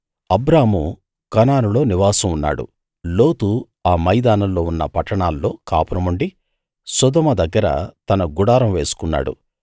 అబ్రాము కనానులో నివాసం ఉన్నాడు లోతు ఆ మైదానంలో ఉన్న పట్టణాల్లో కాపురం ఉండి సొదొమ దగ్గర తన గుడారం వేసుకున్నాడు